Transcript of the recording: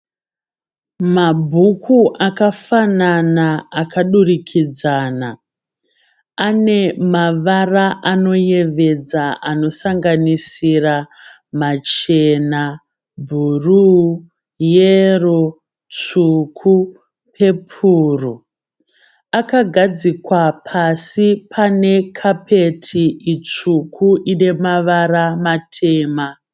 Mabhuku akafanana akadurikidzana. Ane mavara anoyevedza anosanganisira machena, bhuruu, yero, tsvuku nepepuro. Akagadzikwa pasi pane kapeti itsvuku ine mavara matema.